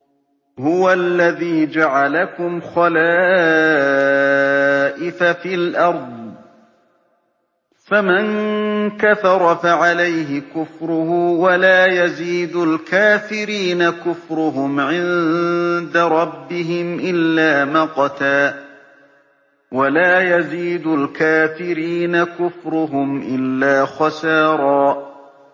هُوَ الَّذِي جَعَلَكُمْ خَلَائِفَ فِي الْأَرْضِ ۚ فَمَن كَفَرَ فَعَلَيْهِ كُفْرُهُ ۖ وَلَا يَزِيدُ الْكَافِرِينَ كُفْرُهُمْ عِندَ رَبِّهِمْ إِلَّا مَقْتًا ۖ وَلَا يَزِيدُ الْكَافِرِينَ كُفْرُهُمْ إِلَّا خَسَارًا